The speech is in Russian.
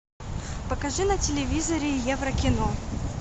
покажи на телевизоре евро кино